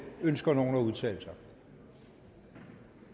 ønsker nogen at udtale sig